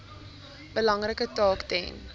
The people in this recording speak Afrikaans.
belangrike taak ten